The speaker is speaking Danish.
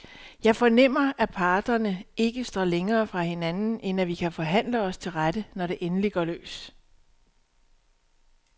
Jeg fornemmer, at parterne ikke står længere fra hinanden, end at vi kan forhandle os til rette, når det endelig går løs.